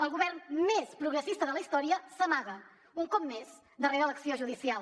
el govern més progressista de la història s’amaga un cop més darrera l’acció judicial